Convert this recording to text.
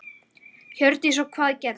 Hjördís: Og hvað gerðist?